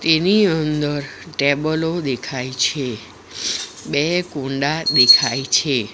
તેની અંદર ટેબલો દેખાય છે બે કુંડા દેખાય છે.